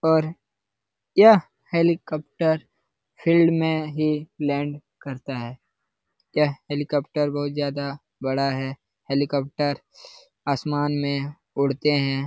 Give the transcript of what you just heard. और यह helicopter field में ही लैंड करता है। यह हेलीकॉप्टर बहुत ज्यादा बड़ा है। हेलीकॉप्टर आसमान में उड़ते है।